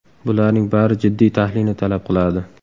Bularning bari jiddiy tahlilni talab qiladi.